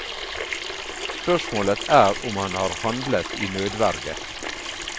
Spørsmålet er om han har handlet i nødverge.